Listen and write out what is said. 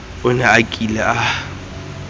o ne a kile a